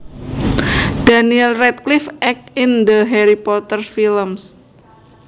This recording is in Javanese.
Daniel Radcliffe acts in the Harry Potter films